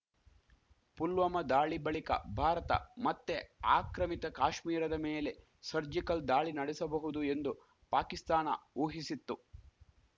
ಪುಲ್ವಾಮಾ ದಾಳಿ ಬಳಿಕ ಭಾರತ ಮತ್ತೆ ಆಕ್ರಮಿತ ಕಾಶ್ಮೀರದ ಮೇಲೆ ಸರ್ಜಿಕಲ್‌ ದಾಳಿ ನಡೆಸಬಹುದು ಎಂದು ಪಾಕಿಸ್ತಾನ ಊಹಿಸಿತ್ತು